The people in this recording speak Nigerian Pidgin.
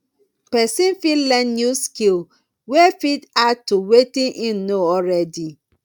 person fit learn new skill wey fit add to wetin im know already